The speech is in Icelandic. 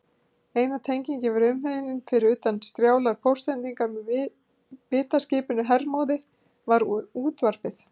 Eina tengingin við umheiminn, fyrir utan strjálar póstsendingar með vitaskipinu Hermóði, var útvarpið.